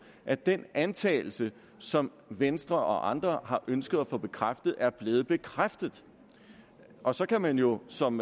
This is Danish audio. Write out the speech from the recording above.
at den antagelse som venstre og andre har ønsket at få bekræftet er blevet bekræftet og så kan man jo som